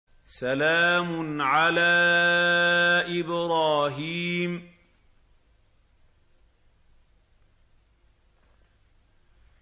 سَلَامٌ عَلَىٰ إِبْرَاهِيمَ